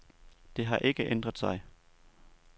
Det har ikke ændret sig.